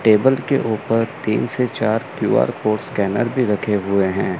Table के ऊपर तीन से चार क्यू_आर कोड स्कैनर भी रखे हुए हैं।